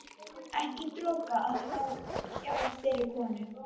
Ekki dropa að fá hjá þeirri konu.